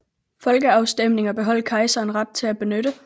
Folkeafstemninger beholdt kejseren ret til at benytte